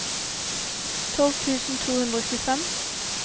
tolv tusen to hundre og tjuefem